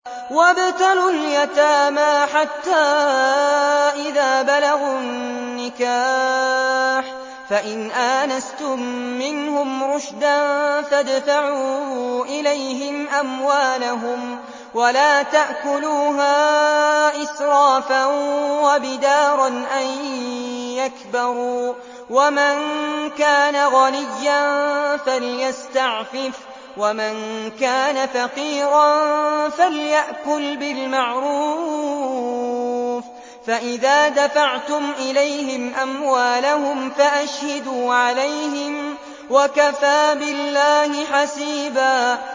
وَابْتَلُوا الْيَتَامَىٰ حَتَّىٰ إِذَا بَلَغُوا النِّكَاحَ فَإِنْ آنَسْتُم مِّنْهُمْ رُشْدًا فَادْفَعُوا إِلَيْهِمْ أَمْوَالَهُمْ ۖ وَلَا تَأْكُلُوهَا إِسْرَافًا وَبِدَارًا أَن يَكْبَرُوا ۚ وَمَن كَانَ غَنِيًّا فَلْيَسْتَعْفِفْ ۖ وَمَن كَانَ فَقِيرًا فَلْيَأْكُلْ بِالْمَعْرُوفِ ۚ فَإِذَا دَفَعْتُمْ إِلَيْهِمْ أَمْوَالَهُمْ فَأَشْهِدُوا عَلَيْهِمْ ۚ وَكَفَىٰ بِاللَّهِ حَسِيبًا